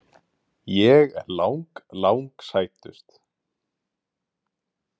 Ég er lang, lang sætust.